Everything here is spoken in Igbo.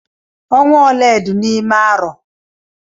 Ọnwa ole dị n'ime arọ?